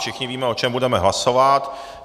Všichni víme, o čem budeme hlasovat.